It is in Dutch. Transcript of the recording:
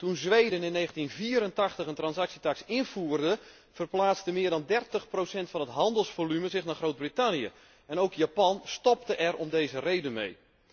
Toen Zweden in 1984 een transactietaks invoerde, verplaatste meer dan dertig procent van het handelsvolume zich naar Groot Brittannië en ook Japan stopte er om deze reden mee.